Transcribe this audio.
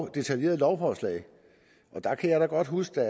detaljeret lovforslag der kan jeg da godt huske at